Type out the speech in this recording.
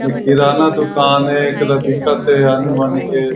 एक किराना दूकान है एक तरफ दिखत हे आनि-बानि के--